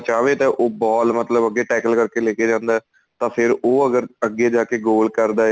ਚਾਵੇ ਤੇ ਉਹ ball ਮਤਲਬ ਅੱਗੇ tecal ਕਰਕੇ ਲੈ ਕੇ ਜਾਂਦਾ ਤਾਂ ਫੇਰ ਉਹ ਅਗਰ ਅੱਗੇ ਜਾ ਕੇ goal ਕਰਦਾ